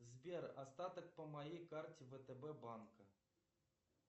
сбер остаток по моей карте втб банка